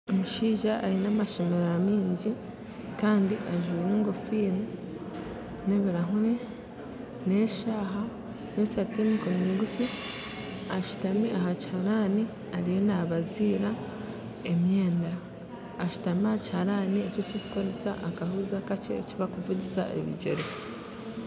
Omushaija aine amashererwa mingi kandi ajwire enkofiira n'ebirahuuri, eshaaha n'esaati y'emikono migufu ashutami aha kiraharani ariyo naabaziira emyenda, ashutami aha kiharani ekirikukoresa akahuuzi akakye eki barikuvugisa ebigyere